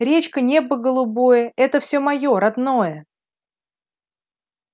речка небо голубое это всё моё родное